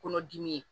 Kɔnɔdimi ye